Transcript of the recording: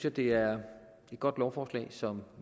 at det er et godt lovforslag som